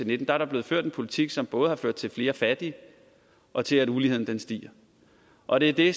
nitten er blevet ført en politik som både har ført til flere fattige og til at uligheden stiger og det er det